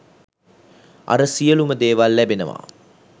අර සියලුම දේවල් ලැබෙනවා